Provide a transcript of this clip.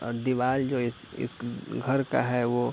और दीवाल जो इस इस घर का है वो--